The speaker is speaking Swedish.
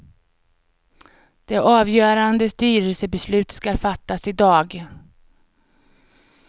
Det avgörande styrelsebeslutet skall fattas i dag.